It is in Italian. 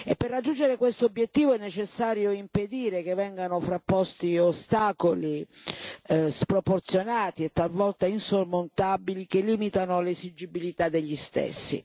Per raggiungere questo obiettivo è necessario impedire che vengano frapposti ostacoli sproporzionati e talvolta insormontabili che limitano l'esigibilità degli stessi.